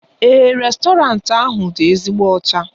Èè, réstọranti ahụ dị ezigbo ọcha.